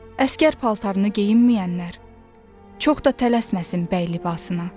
Əsgər paltarını geyinməyənlər çox da tələsməsin bəy libasına.